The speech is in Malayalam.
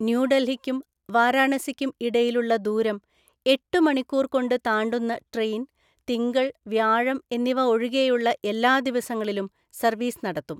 ന്യൂ ഡല്‍ഹിക്കും വാരാണസിക്കും ഇടയിലുള്ള ദൂരം എട്ടു മണിക്കൂര്‍ കൊണ്ട് താണ്ടുന്ന ട്രെയിന്‍ തിങ്കള്‍, വ്യാഴം എന്നിവ ഒഴികെയുള്ള എല്ലാ ദിവസങ്ങളിലും സര്വ്വീസ് നടത്തും.